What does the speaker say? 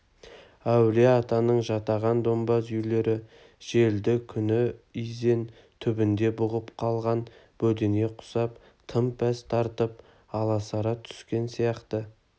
әулие-атаның жатаған домбаз үйлері желді күні изен түбінде бұғып қалған бөдене құсап тым пәс тартып аласара түскен сияқты